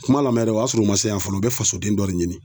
Kuma lamɛ dɛ o y'a sɔrɔ u ma se yan fɔlɔ u bɛ faso den dɔ de ɲini.